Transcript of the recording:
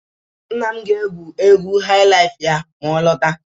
nna m ga-egwu egwu highlife ya ma ọ lọta